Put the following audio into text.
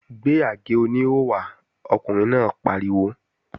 Gbé àgé-oníhò wá! Ọkùnrin náà pariwo